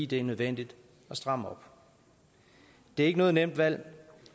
det er nødvendigt at stramme op det er ikke noget nemt valg